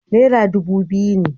Naira dubu biyu ne.